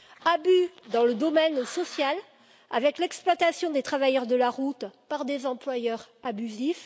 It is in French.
abus dans le domaine social, avec l'exploitation des travailleurs de la route par des employeurs abusifs